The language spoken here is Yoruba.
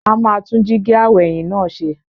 A máa tún jíígi aw'ẹ̀yìn náà ṣe.